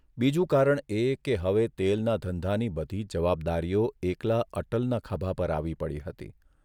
બીજું કારણ એ કે હવે તેલના ધંધાની બધી જ જવાબદારીઓ એકલા અટલના ખભા પર આવી પડી હતી.